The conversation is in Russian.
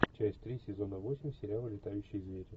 часть три сезона восемь сериала летающие звери